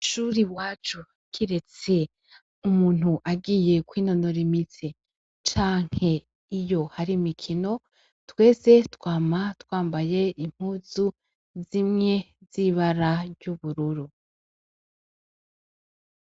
Mwishuri iwacu kiretse umuntu agiye kwinonora imitsi canke iyo hari imikino twese twama twambaye impuzu zimwe z' ibara ry' ubururu.